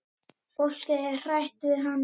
Fólkið er hrætt við hann.